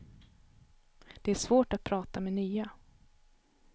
Det är svårt att prata med nya.